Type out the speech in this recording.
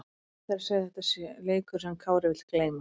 Óhætt er að segja að þetta sé leikur sem Kári vill gleyma.